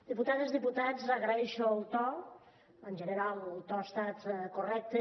diputades diputats agraeixo el to en general el to ha estat correcte